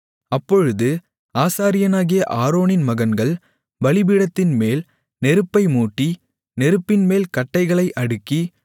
அப்பொழுது ஆசாரியனாகிய ஆரோனின் மகன்கள் பலிபீடத்தின்மேல் நெருப்பை மூட்டி நெருப்பின்மேல் கட்டைகளை அடுக்கி